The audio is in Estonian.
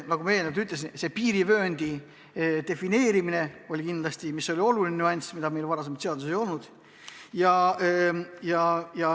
Nagu ma eelnevalt ütlesin, piirivööndi defineerimine on kindlasti oluline asi, mida meil enne seaduses ei olnud.